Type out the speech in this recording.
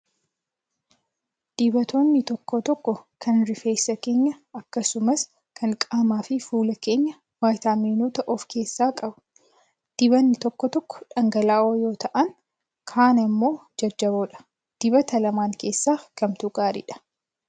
Dibatoonni tokko tokko kan rifeensa keenyaa akkasumas kan qaamaa fi fuula keenyaa viitaaminoota of keessaa qabu. Dibatni tokko tokko dhangala'oo yoo ta'an, kaan immoo jajjaboodha. Dibata lamaan keessaa kamtu gaariidhaa?